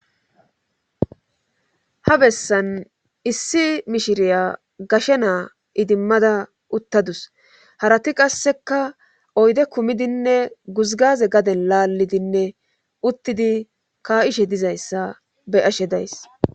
Ha bessan issi mishiriya gashe naa idimmada uttadus harati qasseka oyde kumidinne guzgaze gaden laallidinne uttidi ka7ishe dizayssa be ashe days